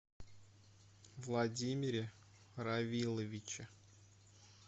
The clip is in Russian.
владимире равиловиче